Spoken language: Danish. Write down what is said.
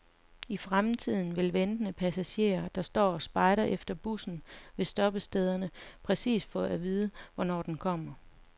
I fremtiden vil ventende passagerer, der står og spejder efter bussen ved stoppestederne, præcist få at vide, hvornår den kommer.